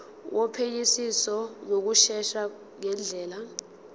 wophenyisiso ngokushesha ngendlela